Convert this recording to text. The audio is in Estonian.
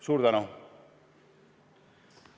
Suur tänu!